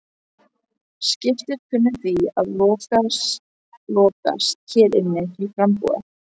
Skipið kunni því að lokast hér inni til frambúðar.